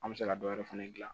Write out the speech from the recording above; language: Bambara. An bɛ se ka dɔ wɛrɛ fɛnɛ dilan